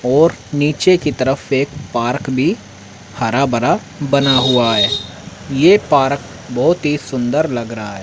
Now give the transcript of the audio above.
और नीचे की तरफ एक पार्क भी हरा भरा बना हुआ है ये पार्क बहोत ही सुंदर लग रहा है।